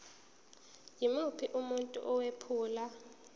yimuphi umuntu owephula